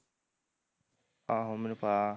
ਆਹੋ ਮੈਨੂੰ ਪਤਾ